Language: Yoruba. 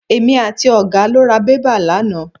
Èmi àti ọ̀gá lọ ra bébà lánàá.